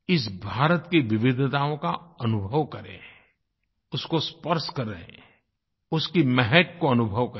इस भारत की विविधताओं का अनुभव करें उसको स्पर्श करें उसकी महक को अनुभव करें